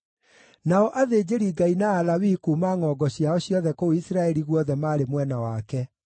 Nao athĩnjĩri-Ngai na Alawii kuuma ngʼongo ciao ciothe kũu Isiraeli guothe maarĩ mwena wake.